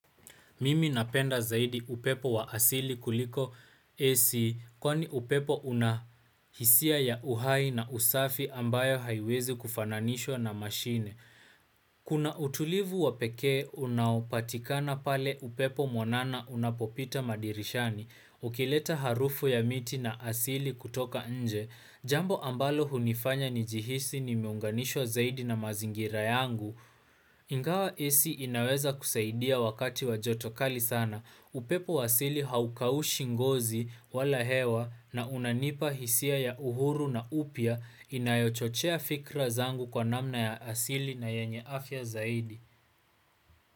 Mimi napenda zaidi upepo wa asili kuliko AC kwani upepo unahisia ya uhai na usafi ambayo haiwezi kufananishwa na mashine. Kuna utulivu wa pekee unaopatikana pale upepo mwanana unapopita madirishani ukileta harufu ya miti na asili kutoka nje. Jambo ambalo hunifanya nijihisi nimeunganishwa zaidi na mazingira yangu. Ingawa AC inaweza kusaidia wakati wa joto kali sana. Upepo wa asili haukaushi ngozi wala hewa na unanipa hisia ya uhuru na upya inayochochea fikra zangu kwa namna ya asili na yenye afya zaidi.